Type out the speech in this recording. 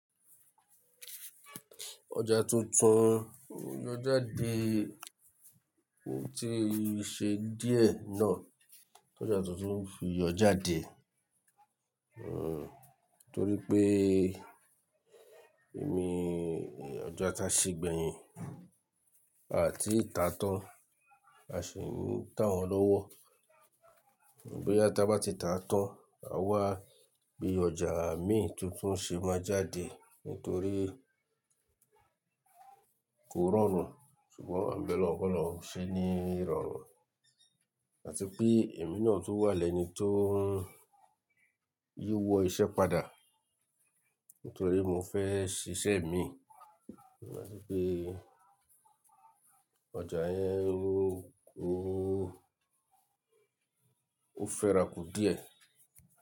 Ọjà tuntun yóò jáde, ó ti ṣe díẹ̀ náà. Ọjà tuntun fi yọ jàdé. Hmm, torí pé èmi, ọjà táa ṣe gbẹ̀yìn, à tí ì ta tán, a sì ń tà wọ́n lọ́wọ́. Boyà táa bá ti ta tán, a wá bí ọjà mi tuntun ṣe máa jáde nítorí kò rọrùn, ṣùgbọ́n à ń bẹ lọ́hun kọ́lọ́hun ṣe ní rọrùn. Àti pé èmi náà tó wà lẹ́ni tó ń yíwọ́ iṣẹ́ padà, nítorí mo fẹ́ ṣiṣẹ́ mi. Ṣùgbọ́n bí pé ọjà yẹn ó, ó, ó fẹ́rakù díẹ̀